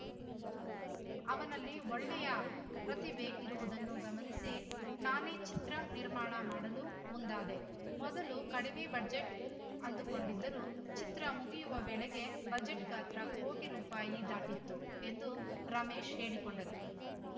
ಅವನಲ್ಲಿ ಒಳ್ಳೆಯ ಪ್ರತಿಭೆ ಇರುವುದನ್ನು ಗಮನಿಸಿ ನಾನೇ ಚಿತ್ರ ನಿರ್ಮಾಣ ಮಾಡಲು ಮುಂದಾದೆ ಮೊದಲು ಕಡಿಮೆ ಬಜೆಟ್‌ ಅಂದುಕೊಂಡಿದ್ದರೂ ಚಿತ್ರ ಮುಗಿಯುವ ವೇಳೆಗೆ ಬಜೆಟ್‌ ಗಾತ್ರ ಕೋಟಿ ರುಪಾಯಿ ದಾಟಿತ್ತು ಎಂದು ರಮೇಶ್‌ ಹೇಳಿಕೊಂಡರು